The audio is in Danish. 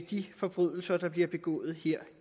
de forbrydelser der bliver begået her